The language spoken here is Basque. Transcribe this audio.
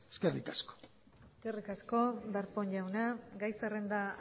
eskerrik asko darpón jauna gai zerrenda